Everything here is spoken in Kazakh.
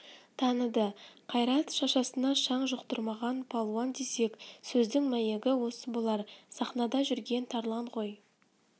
таныды қайрат шашасына шаң жұқтырмаған палуан десек сөздің мәйегі осы болар сахнада жүрген тарлан ғой